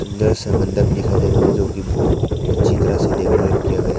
सुंदर सा मंडप दिखाई दे रहा है जो की बहुत अच्छी तरह से डेकोरेट किया गया--